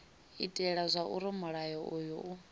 itela zwauri mulayo uyu u